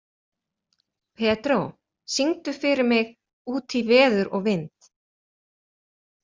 Pedró, syngdu fyrir mig „Út í veður og vind“.